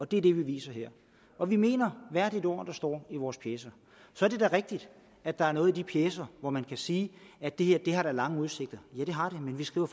det er det vi viser her og vi mener hvert et ord der står i vores pjecer så er det da rigtigt at der er noget i de pjecer hvor man kan sige at det her har lange udsigter ja det har det men vi skriver